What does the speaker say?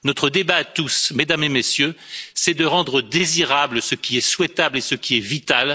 Notre débat à tous, Mesdames et Messieurs, c'est de rendre désirable, ce qui est souhaitable et ce qui est vital.